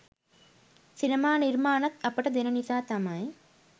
සිනමා නිර්මාණත් අපට දෙන නිසා තමයි